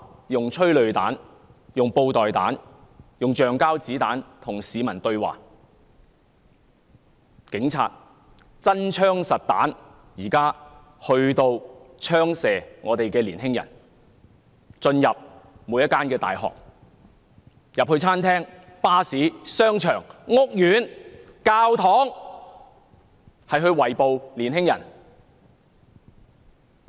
用催淚彈、布袋彈、橡膠子彈與市民對話，警察現在用真槍實彈來射擊香港的年青人，並進入每間大學、餐廳、巴士、商場、屋苑和教堂圍捕年青人。